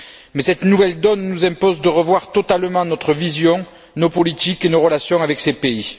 Mais cette nouvelle donne nous impose de revoir totalement notre vision, nos politiques et nos relations avec ces pays.